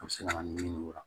A bɛ se ka na ni ɲimiko la